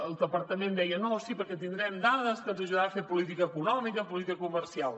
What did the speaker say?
el departament deia no sí perquè tindrem dades que ens ajudaran a fer política econòmica política comercial